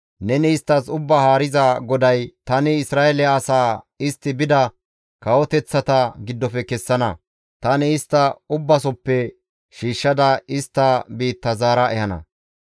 Neni isttas Ubbaa Haariza GODAY, ‹Tani Isra7eele asaa istti bida kawoteththata giddofe kessana; tani istta ubbasoppe shiishshada istta biitta zaara ehana.